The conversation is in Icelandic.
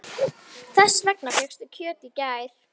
Þess vegna fékkstu kjöt í gær.